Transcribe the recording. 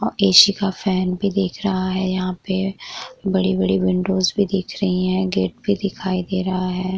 AC. का fan भी दिख रहा है यहा पे। बड़ी-बड़ी विंडोज भी दिख रही हैं। गेट भी दिखाई दे रहा है ।